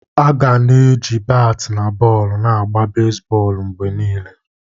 Aga na-eji batị na bọọlụ na-agba bezbọọlụ mgbe niile.